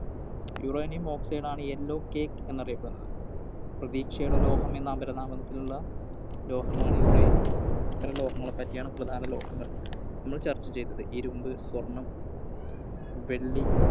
Uranium Oxide ആണ് Yellow cake എന്ന് അറിയപ്പെടുന്നത്. പ്രതീക്ഷയുടെ ലോഹം എന്ന അപരനാമത്തിലുള്ള ലോഹമാണ് Uranium. ഇത്രയും ലോഹങ്ങളെ പറ്റിയാണ് പ്രധാന ലോഹങ്ങൾ നമ്മൾ ചർച്ച ചെയ്‌തത്‌. ഇരുമ്പ്, സ്വർണം, വെള്ളി,